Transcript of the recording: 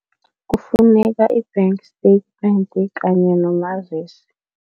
Kufuneka i-bank statement kanye nomazisi.